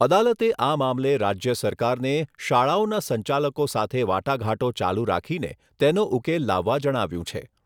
અદાલતે આ મામલે રાજ્ય સરકારને શાળાઓના સંચાલકો સાથે વાટાઘાટો ચાલુ રાખીને તેનો ઉકેલ લાવવા જણાવ્યુંં છે.